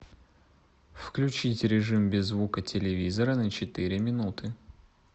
включить режим без звука телевизора на четыре минуты